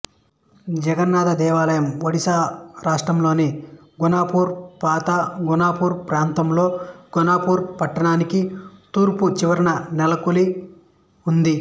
జగన్నాథ దేవాలయం ఒడిశా రాష్ట్రంలోని గుణుపూర్ పాత గుణుపూర్ ప్రాంతంలో గుణుపూర్ పట్టణానికి తూర్పు చివరన నెలకొని ఉన్నది